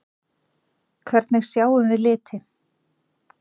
Hvernig sjáum við liti?